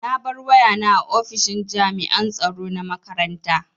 Na bar wayana a ofishin jami'an tsaro na makaranta.